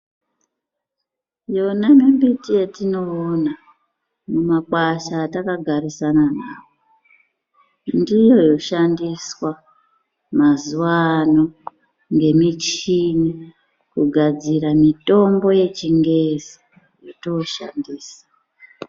Yona mimbiti yatinoona mumakwasha atakagarisana nawo ndiyo yoshandiswa mazuwa ano ngemichini kugadzira mutombo yechingezi yotooshandisa.